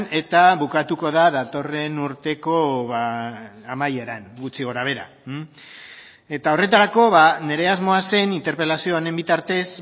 eta bukatuko da datorren urteko amaieran gutxi gora behera eta horretarako nire asmoa zen interpelazio honen bitartez